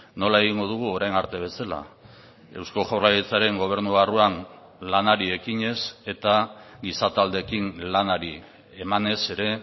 nola egingo dugu orain arte bezala eusko jaurlaritzaren gobernu barruan lanari ekinez eta giza taldeekin lanari emanez ere